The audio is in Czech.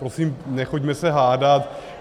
Prosím, nechoďme se hádat.